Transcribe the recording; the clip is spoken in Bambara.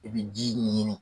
I bi ji ɲini.